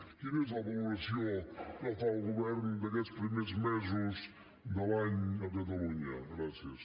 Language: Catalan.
quina és la valoració que fa el govern d’aquests primers mesos de l’any a catalunya gràcies